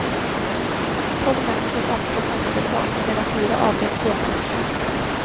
Tolv människor omkom omedelbart medan fyra avled senare på sjukhus.